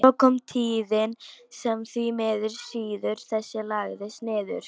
Svo kom tíðin sem því miður siður þessi lagðist niður.